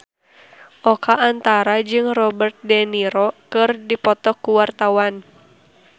Oka Antara jeung Robert de Niro keur dipoto ku wartawan